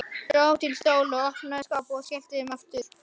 Dró til stóla, opnaði skápa og skellti þeim aftur.